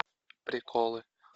приколы